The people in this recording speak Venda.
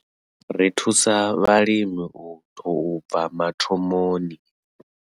Ri thusa vhalimi u tou bva mathomoni.